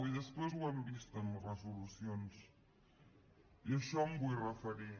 i després ho hem vist en les resolucions i a això em vull referir